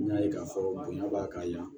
N y'a ye k'a fɔ bonya b'a ka ɲa